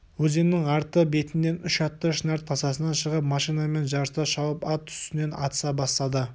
өзеннің арты бетінен үш атты шынар тасасынан шығып машинамен жарыса шауып ат үстінен атыса бастады